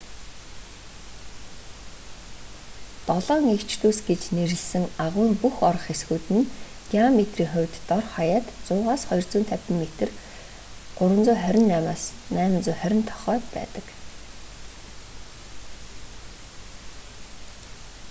долоон эгч дүүс” гэж нэрлэсэн агуйн бүх орох хэсгүүд нь диаметрийн хувьд дор хаяад 100-с 250 метр 328-с 820 тохой байдаг